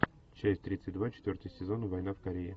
часть тридцать два четвертый сезон война в корее